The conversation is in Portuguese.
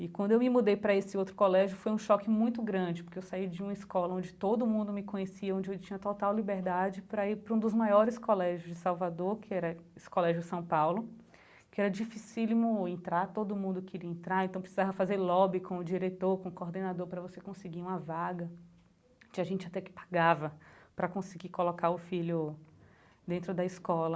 E quando eu me mudei pra esse outro colégio foi um choque muito grande, porque eu saí de uma escola onde todo mundo me conhecia, onde eu tinha total liberdade pra ir pra um dos maiores colégios de Salvador, que era esse colégio São Paulo, que era dificílimo entrar, todo mundo queria entrar, então precisava fazer lobby com o diretor, com o coordenador pra você conseguir uma vaga, tinha gente até que pagava pra conseguir colocar o filho dentro da escola.